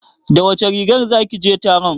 Da wace rigar zaki je taron?